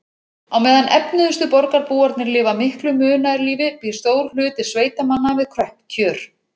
Á meðan efnuðustu borgarbúarnir lifa miklu munaðarlífi býr stór hluti sveitamanna við kröpp kjör.